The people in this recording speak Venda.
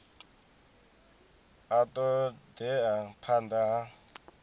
a ṱo ḓea phanḓa ha